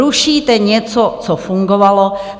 Rušíte něco, co fungovalo.